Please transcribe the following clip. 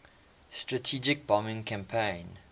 strategic bombing campaign